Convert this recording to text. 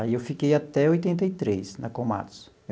Aí eu fiquei até oitenta e três na Komatsu.